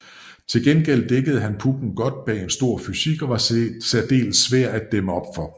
Til gengæld dækkede han pucken godt bag en stor fysik og var særdeles svær at dæmme op for